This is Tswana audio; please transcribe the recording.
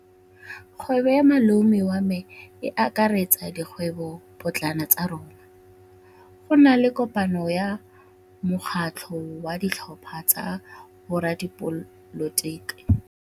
Kgwêbô ya malome wa me e akaretsa dikgwêbôpotlana tsa rona. Go na le kopanô ya mokgatlhô wa ditlhopha tsa boradipolotiki.